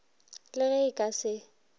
le ge e ka se